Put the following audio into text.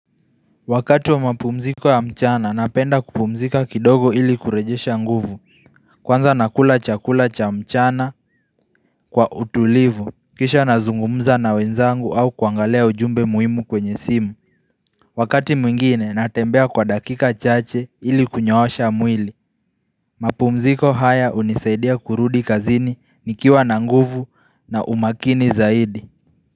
Wakati wa mapumziko ya mchana, napenda kupumzika kidogo ili kurejesha nguvu. Kwanza nakula chakula cha mchana kwa utulivu. Kisha nazungumza na wenzangu au kuangalea ujumbe muhimu kwenye simu. Wakati mwingine, natembea kwa dakika chache ili kunyoosha mwili. Mapumziko haya unisaidia kurudi kazini nikiwa na nguvu na umakini zaidi.